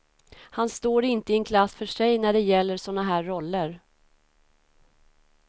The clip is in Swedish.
Han står inte i en klass för sig när det gäller såna här roller.